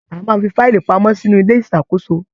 A máa n fí faílí pamọ́ sínú ilé ìṣàkóso.